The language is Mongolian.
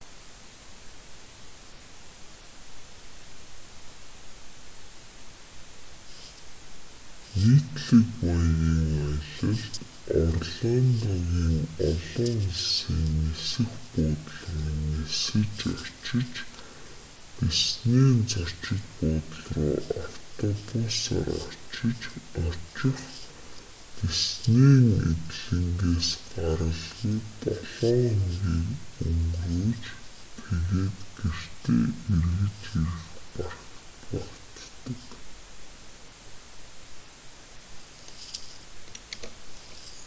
нийтлэг маягийн аялалд орландогийн олон улсын нисэх буудал руу нисэж очих диснейн зочид буудал руу автобусаар очих диснейн эдлэнгээс гаралгүй долоо хоногийг өнгөрөөж тэгээд гэртээ эргэж ирэх багтдаг